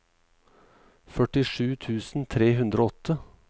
førtisju tusen tre hundre og åtte